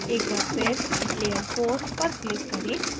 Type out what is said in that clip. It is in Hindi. एक बार फिर layer four पर click करें